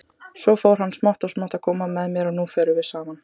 Svo fór hann smátt og smátt að koma með mér, og nú förum við saman.